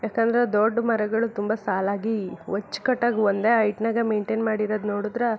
ಯಾಕಂದ್ರ ದೊಡ್ ಮರಗಳು ತುಂಬಾ ಸಾಲಾಗಿ ಅಚ್ಚು ಕಟ್ಟಾಗಿ ಒಂದೇ ಹೇಯ್ಗ್ಟ್ನ ಲ್ಲಿ ಮೈನ್ಟೈನ್ ಮಾಡಿರೋದು ನೋಡಿದ್ರೆ --